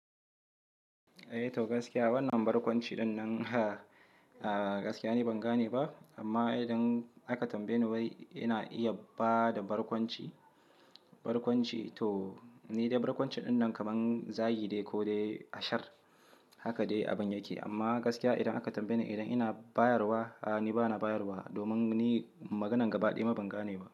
Eh to gaskiya wannan barkwanci ɗinnan gaskiya ni ban gane ba amma idan aka tambaye ni wai ina iya bada barkwanci, barkwanci to ni dai barkwanci ɗinnan kaman zagi ne ko dai ashar haka dai abun yake amma gaskiya idan aka tambaye ni idan ina bayarwa, a'a ni bana bayarwa domin ni maganan gaba ɗaya ma ban gane ba.